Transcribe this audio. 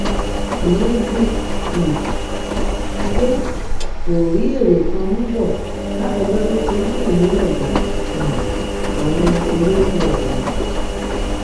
ìyẹn bù um ú pé kó rí èrè kan mú bọ látọjọ tó ti ń tẹlé ọgá um àwọn olóko ọhún